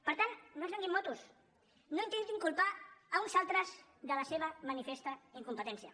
per tant no ens venguin motos no intentin culpar uns altres de la seva manifesta incom·petència